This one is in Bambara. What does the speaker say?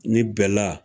Ni bɛla